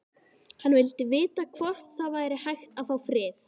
Hann vildi vita hvort það væri hægt að fá frið.